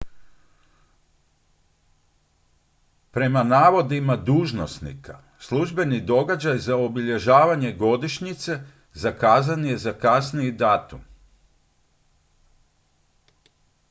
prema navodima dužnosnika službeni događaj za obilježavanje godišnjice zakazan je za kasniji datum